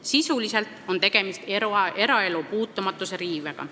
Sisuliselt on tegemist eraelu puutumatuse riivega.